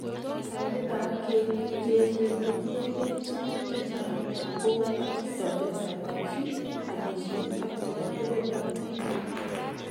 Taunetap keek biik che echen ko tiyekeey tuguk chechang' kou atindoniotap kabchi, amisiet ak che po muren ak tibiik.